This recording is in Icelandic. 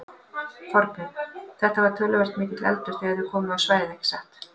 Þorbjörn: Þetta var töluvert mikill eldur þegar þið komuð á svæðið ekki satt?